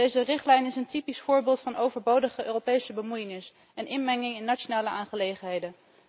Deze richtlijn is een typisch voorbeeld van overbodige Europese bemoeienis en inmenging in nationale aangelegenheden.